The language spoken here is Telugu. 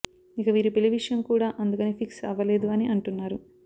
ఇక వీరి పెళ్లి విషయం కూడా అందుకని ఫిక్స్ అవ్వలేదు అని అంటున్నారు